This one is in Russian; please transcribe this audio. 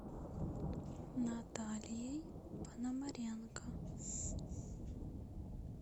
натальей пономаренко